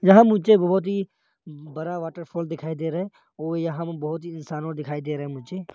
यहां मुझे बहुत ही बड़ा वाटरफॉल दिखाई दे रहा है और यहां में बहुत ही इंसान और दिखाई दे रहे है मुझे।